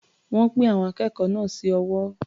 Wọ́n pín àwọn akẹ́kọ̀ọ́ náà sí ọ̀wọ́.